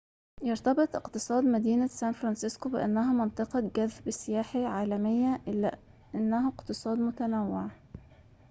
يرتبط اقتصاد مدينة سان فرانسسكو بأنها منطقة جذب سياحي عالمية إلا أنه اقتصاد متنوع